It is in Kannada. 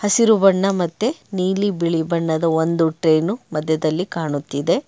ಹಸಿರು ಬಣ್ಣ ಮತ್ತೆ ನೀಲಿ ಬಿಳಿ ಬಣ್ಣದ ಒಂದು ಟ್ರೈನು ಮಧ್ಯದಲ್ಲಿ ಕಾಣುತ್ತಿದೆ.